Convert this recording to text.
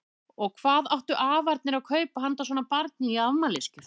Og hvað áttu afarnir að kaupa handa svona barni í afmælisgjöf?